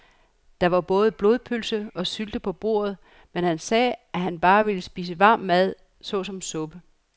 Der var både blodpølse og sylte på bordet, men han sagde, at han bare ville spise varm mad såsom suppe.